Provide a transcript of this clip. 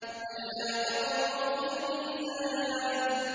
أَلَّا تَطْغَوْا فِي الْمِيزَانِ